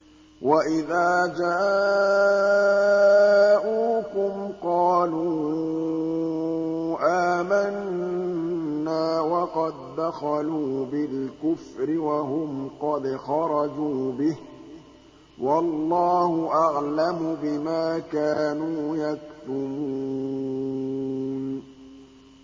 وَإِذَا جَاءُوكُمْ قَالُوا آمَنَّا وَقَد دَّخَلُوا بِالْكُفْرِ وَهُمْ قَدْ خَرَجُوا بِهِ ۚ وَاللَّهُ أَعْلَمُ بِمَا كَانُوا يَكْتُمُونَ